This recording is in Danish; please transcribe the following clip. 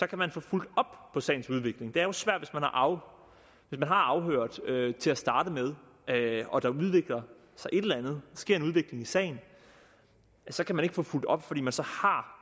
kan man få fulgt op på sagens udvikling det er jo svært hvis man har afhørt et vidne til at starte med og der sker en udvikling i sagen så kan man ikke få fulgt op fordi man så har